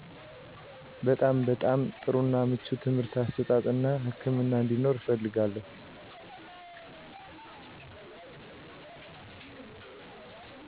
በጣም በጣም ጥሩ እና ምቹ ትምርህት አሰጣጥ እና ህክምና አንዴኖር እፈልጋለው